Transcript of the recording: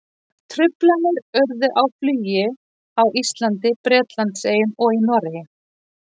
Truflanir urðu á flugi á Íslandi, Bretlandseyjum og í Noregi.